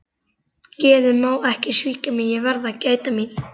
Geðið má ekki svíkja mig, ég verð að gæta mín.